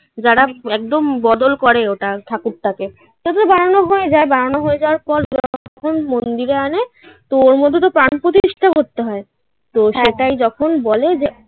যারা একদম বদল করে ওটা ঠাকুরটাকে তো বানানো হয়ে যায় বানানো হয়ে যাওয়ার পর যখন মন্দিরে আনে ওর মধ্যে তো প্রাণ প্রতিষ্ঠা করতে হয়. তো সেটাই যখন বলে যে